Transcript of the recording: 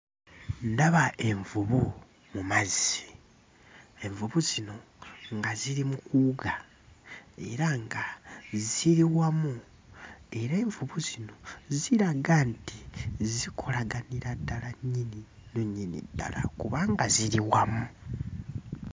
Ndaba envubu mu mazzi. Envubu zino nga ziri mu kuwuga era nga ziri wamu, era envubu zino ziraga nti zikolaganira ddala nnyini nnyo nnyini ddala kubanga ziri wamu.